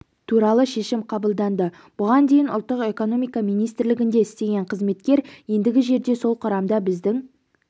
туралы шешім қабылданды бұған дейін ұлттық экономика министрлігінде істеген қызметкер ендігі жерде сол құрамда біздің